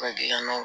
Ka gilan